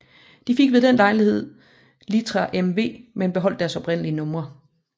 De fik ved den lejlighed litra MV men beholdt deres oprindelige numre